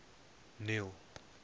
neil